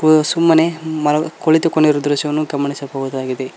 ಓ ಅದು ಸುಮ್ಮನೆ ಮಲಗ್ ಕುಳಿತುಕೊಂಡಿರು ದೃಶ್ಯವನ್ನು ಗಮನಿಸಬಹುದಾಗಿದೆ.